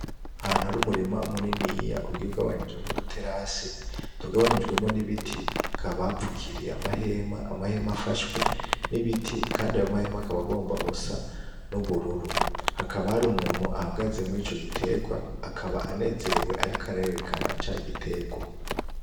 Ahantu hari umurima muniniya ugiye ugabanijemwo udu terase, tugabanyijwemwo n'ibiti bapfukiriye n'amahema. Amahema afashwe n'ibiti. Kandi ayo mahema akaba agomba gusa n'ubururu. Hakaba hari umuntu ahagaze murico giterwa akaba anezerewe ariko arerekana ca giterwa.